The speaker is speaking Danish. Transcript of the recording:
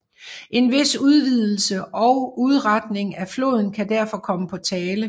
En vis udvidelse og udretning af floden kan derfor komme på tale